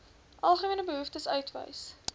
algemene behoeftes uitwys